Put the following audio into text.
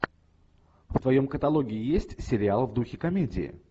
в твоем каталоге есть сериал в духе комедии